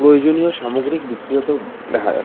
প্রয়োজনীয়ও সামগ্রী বিক্রি হতেও দেখা যা--